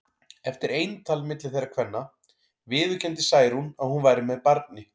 Eftir eintal milli þeirra kvenna viðurkenndi Særún að hún væri með barni.